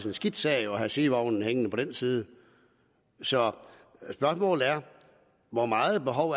en skidt sag at have sidevognen hængende på den side så spørgsmålet er hvor meget behov